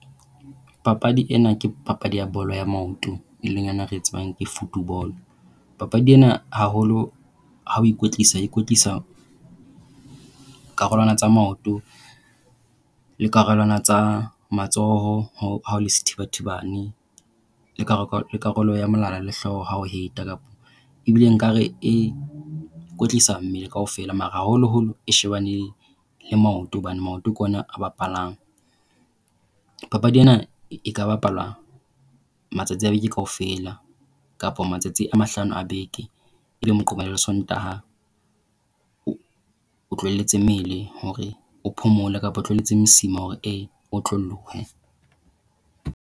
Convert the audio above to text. Papadi ena ke papadi ya bolo ya maoto e leng yona eo re e tsebang ke football. Papadi ena haholo ha o ikwetlisa o ikwetlisa karolwana tsa maoto le karolwana tsa matsoho ha o le sethibathibane. Le karolo ya molala le hlooho ha o het kapa e bile nkare e kwetlisa mmele kaofela mara haholoholo e shebane le maoto hobane maoto ke ona a bapalang. Papadi ena e ka bapala matsatsi a beke kaofela, kapa matsatsi a mahlano a beke, e leng Moqebelo le Sontaha. O tlohelletse mmele hore o phomole kapa o tlohelletse mosima hore e otlolohe.